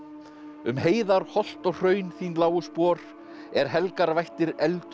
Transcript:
um heiðar holt og hraun þín lágu spor er helgar vættir efldu